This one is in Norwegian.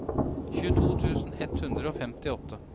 tjueto tusen ett hundre og femtiåtte